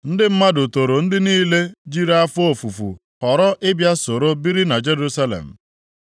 Ndị mmadụ toro ndị niile jiri afọ ofufu họrọ ịbịa soro biri na Jerusalem.